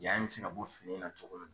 Ja in mi se bɔ fini in na cogo min na